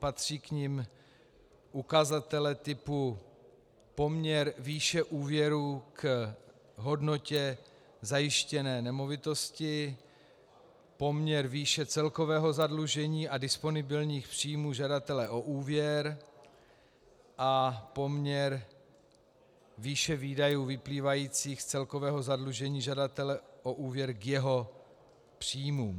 Patří k nim ukazatele typu poměr výše úvěrů k hodnotě zajištěné nemovitosti, poměr výše celkového zadlužení a disponibilních příjmů žadatele o úvěr a poměr výše výdajů vyplývajících z celkového zadlužení žadatele o úvěr k jeho příjmům.